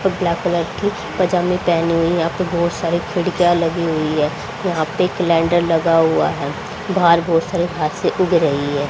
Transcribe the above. Black colour की पैजामे पहनी हुई है यहां पर बहोत सारे खिड़कियां लगी हुई है यहां पे कैलेंडर लगा हुआ है बाहर बहोत सारे घसा उग रही है।